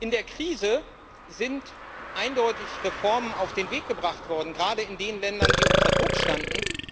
In der Krise sind eindeutig Reformen auf den Weg gebracht worden, gerade in den Ländern, die unter Druck standen.